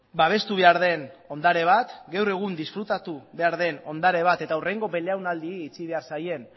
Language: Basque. babestu behar den ondare bat gaur egun disfrutatu behar den ondare bat eta hurrengo belaunaldiei utzi behar zaien